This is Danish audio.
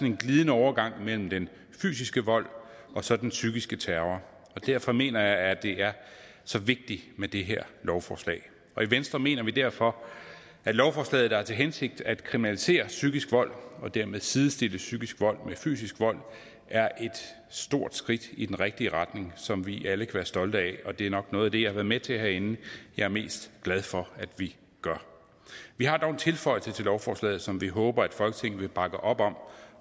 en glidende overgang mellem den fysiske vold og så den psykiske terror og derfor mener jeg at det er så vigtigt med det her lovforslag i venstre mener vi derfor at lovforslaget der har til hensigt at kriminalisere psykisk vold og dermed sidestille psykisk vold med fysisk vold er et stort skridt i den rigtige retning som vi alle kan være stolte af og det er nok noget af det jeg har været med til herinde jeg er mest glad for at vi gør vi har dog en tilføjelse til lovforslaget som vi håber at folketinget vil bakke op om